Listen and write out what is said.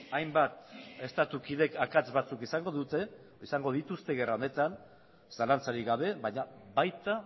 hainbat estatu kidek akats batzuk izango dituzte gerra honetan zalantzarik gabe baina baita